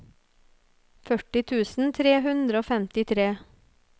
førti tusen tre hundre og femtitre